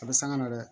A bɛ sanga na dɛ